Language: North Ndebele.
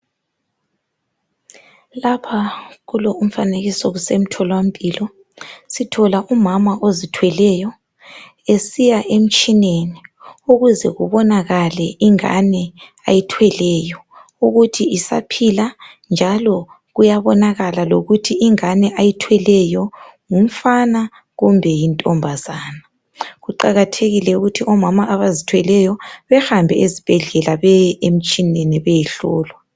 Lapha kulo umfanekiso kusemtholampilo, sithola umama ozithweleyo esiya emtshineni ukuze kubonakale ingani ayithweleyo ukuthi isaphila njalo kuyabonakala lokuthi ingane ayithweleyo ngumfana kumbe yintombazana. Kuqakathekile ukuthi omama abazithweleyo behambe ezibhedlela beye emtshineni beyehlolwa.